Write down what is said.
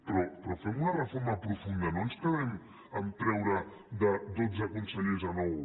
però fem una reforma profunda no ens quedem amb treure de dotze consellers a nou